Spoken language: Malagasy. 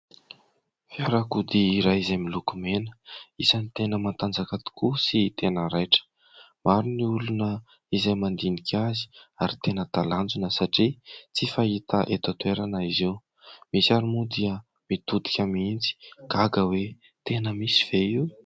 Fiarakodia iray izay miloko mena, isany tena mantanjaka tokoa sy tena raitra, maro ny olona izay mandinika azy ary tena talanjona satria tsy fahita eto an-toerana izy io, misy ary moa dia mitodika mihitsy gaga hoe tena misy ve io?